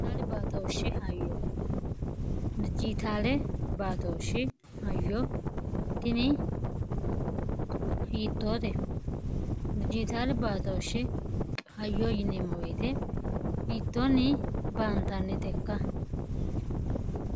hbtooshshihyodijitaale baatooshshi hayyo tini hiittoote dijitaali baatooshshi hayyo yineemmo weete hiittoonni baantanni tekka